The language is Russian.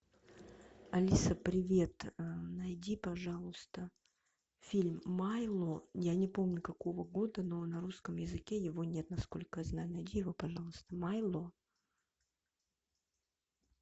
алиса привет найди пожалуйста фильм майло я не помню какого года но на русском языке его нет насколько я знаю найди его пожалуйста майло